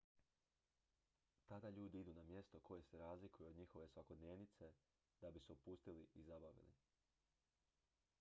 tada ljudi idu na mjesto koje se razlikuje od njihove svakodnevice da bi se opustili i zabavili